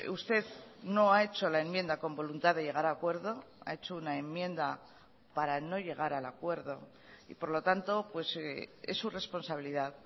usted no ha hecho la enmienda con voluntad de llegar a acuerdo ha hecho una enmienda para no llegar al acuerdo y por lo tanto es su responsabilidad